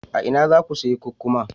A ina za ku sayi kukkuma?